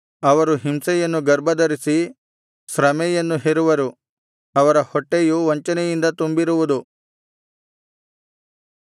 ಅವರು ಹಿಂಸೆಯನ್ನು ಗರ್ಭಧರಿಸಿ ಶ್ರಮೆಯನ್ನು ಹೆರುವರು ಅವರ ಹೊಟ್ಟೆಯು ವಂಚನೆಯಿಂದ ತುಂಬಿರುವುದು